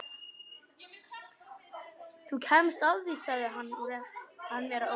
Þú kemst að því sagði hann mér að óvörum.